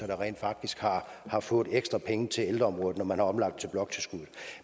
der rent faktisk har fået ekstra penge til ældreområdet efter man har omlagt til bloktilskuddet